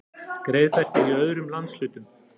Greiðfært er í öðrum landshlutum